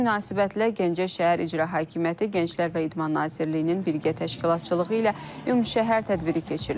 Bu münasibətlə Gəncə şəhər İcra Hakimiyyəti, Gənclər və İdman Nazirliyinin birgə təşkilatçılığı ilə ümumşəhər tədbiri keçirilib.